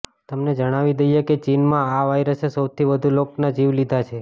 તમને જણાવી દઈએ કે ચીનમાં આ વાયરસે સૌથી વધુ લોકોના જીવ લીધા છે